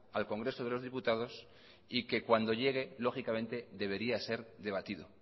al congreso de los diputados y que cuando llegue lógicamente debería ser debatido